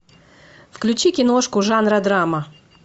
включи киношку жанра драма